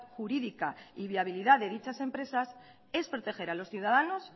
jurídica y viabilidad de dichas empresas es proteger a los ciudadanos